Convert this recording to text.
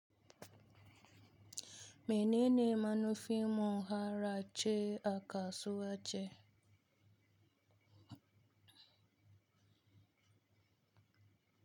Mene ne manufin mu har a ce a kasuwace?